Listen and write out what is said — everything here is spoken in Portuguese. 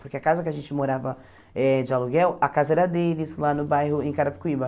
Porque a casa que a gente morava eh de aluguel, a casa era deles lá no bairro, em Carapicuíba.